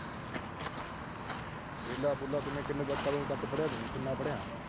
ਵਿਹਲਾ-ਵੁਹਲਾ ਕਿਵੇਂ। ਕਦੋਂ ਤੱਕ ਪੜ੍ਹਿਆ ਤੂੰ। ਕਿੰਨਾ ਪੜ੍ਹਿਆ।